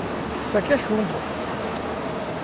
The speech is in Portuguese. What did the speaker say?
Isso aqui é chumbo, ó.